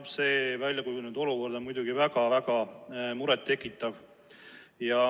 Jah, see väljakujunenud olukord on muidugi väga-väga muret tekitav.